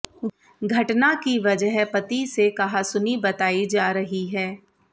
घटना की वजह पति से कहासुनी बताई जा रही है